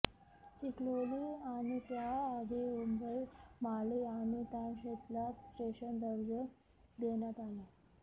चिखलोली आणि त्या आधी उंबरमाळी आणि तानशेतला स्टेशन दर्जा देण्यात आला